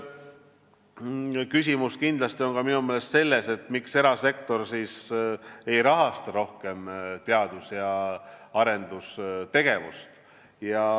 Küsimus on minu meelest kindlasti ka see, miks erasektor ei rahasta rohkem teadus- ja arendustegevust.